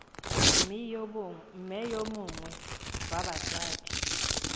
mme yo mongwe wa batsadi